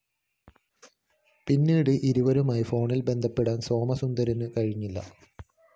പിന്നീട്‌ ഇവരുമായി ഫോണില്‍ ബന്ധപ്പെടാന്‍ സോമസുന്ദരത്തിന്‌ കഴിഞ്ഞില്ല